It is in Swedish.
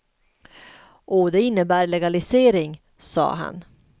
Och det innebär legalisering, sade han.